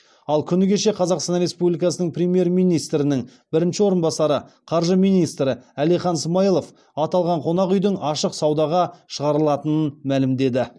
ал күні кеше қазақстан республикасының премьер министрінің бірінші орынбасары қаржы министрі әлихан смайылов аталған қонақ үйдің ашық саудаға шығарылатынын мәлімдеді